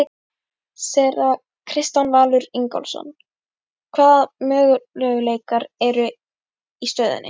Séra Kristján Valur Ingólfsson: Hvaða möguleikar eru í stöðunni?